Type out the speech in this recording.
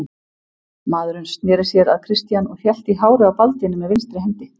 Maðurinn sneri sér að Christian og hélt í hárið á Baldvini með vinstri hendi.